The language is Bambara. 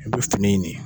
I bɛ fini in de